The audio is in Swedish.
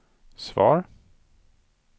svar